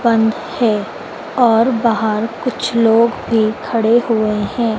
बंद है और बाहर कुछ लोग भी खड़े हुए हैं।